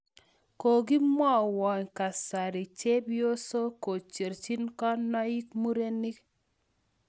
kagimwoiwo kasari chepyosok kocherchin kaniok murenik